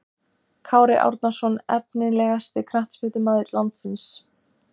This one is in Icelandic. Kári Árnason Efnilegasti knattspyrnumaður landsins?